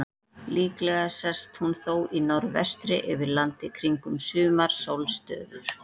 Líklega sest hún þó í norðvestri yfir landi kringum sumarsólstöður.